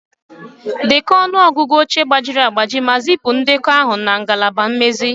Dekọọ ọnụ ọgụgụ oche gbajiri agbaji ma zipụ ndekọ ahụ na ngalaba mmezi